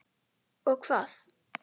Og hvað.